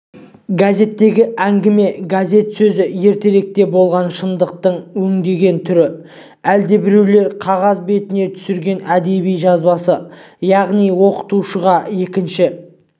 газеттегі әңгіме газет сөзі ертеректе болған шындықтың өңдеген түрі әлдебіреулер қағаз бетіне түсірген әдеби жазбасы яғни оқушыға екінші